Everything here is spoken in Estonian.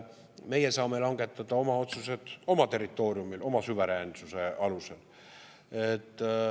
Meie saame langetada oma otsused oma territooriumil oma suveräänsuse alusel.